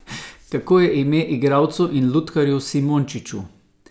Kako je ime igralcu in lutkarju Simončiču?